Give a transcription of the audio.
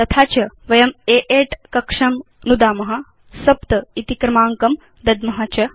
तथा च वयं A8 कक्षं नुदाम 7 इति क्रमाङ्कं दद्म च